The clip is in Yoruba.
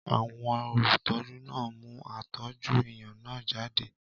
Àwọn olùtọ́jú náà mú àtòjọ-ẹ̀yàn náà jáde.